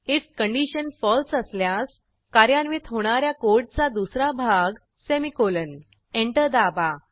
if condition false असल्यास कार्यान्वित होणा या कोडचा दुसरा भाग सेमीकोलन एंटर दाबा